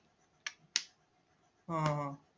हा हा हा